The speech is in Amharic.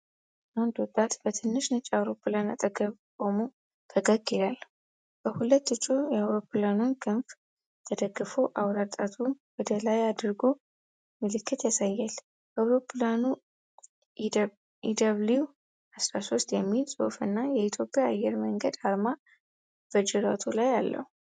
አንድ ወጣት በትንሽ ነጭ አውሮፕላን አጠገብ ቆሞ ፈገግ ይላል። በሁለት እጁ የአውሮፕላኑን ክንፍ ተደግፎ አውራ ጣቱን ወደ ላይ አድርጎ ምልክት ያሳያል። አውሮፕላኑ "ኢደብሊው-13" የሚል ጽሑፍ እና የኢትዮጵያ አየር መንገድ አርማ በጅራቱ ላይ አለው።